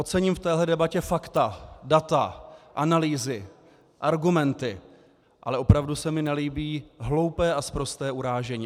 Ocením v téhle debatě fakta, data, analýzy, argumenty, ale opravdu se mi nelíbí hloupé a sprosté urážení.